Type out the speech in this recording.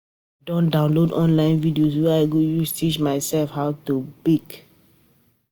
I don download online videos wey I go use teach mysef how to bake.